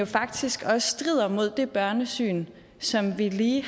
faktisk også strider imod det børnesyn som vi lige